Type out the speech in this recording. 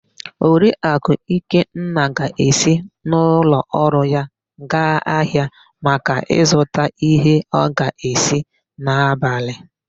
Oriakụ Ikenna ga-esi n'ụlọọrụ ya gaa ahịa maka ịzụta íhé ọ ga-esi n'abalị.